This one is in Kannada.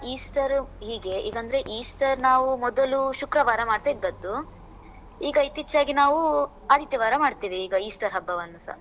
Easter ಹೀಗೆ, ಹೀಗ್ ಅಂದ್ರೆ Easter ನಾವು ಮೊದಲು ಶುಕ್ರವಾರ ಮಾಡ್ತಾ ಇದ್ದದ್ದು. ಈಗ ಇತ್ತೀಚೆಗೆ ನಾವು ಆದಿತ್ಯವಾರ ಮಾಡ್ತೇವೆ ಈಗ Easter ಹಬ್ಬವನ್ನೂ ಸ.